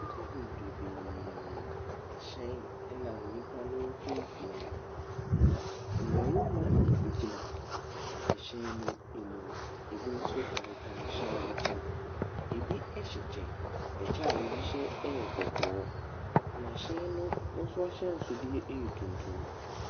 Nnipa bebrebee, hyɛn nam nnipa ne mfimfin, na mmarima gyina hywn no mu, bi nso taretare hyɛn no ho. Bi hyɛ kyɛ, kyɛ a bi hyɛ yɛ kɔkɔɔ, na hyɛn no nso ahyɛnsodeɛ yɛ tuntum.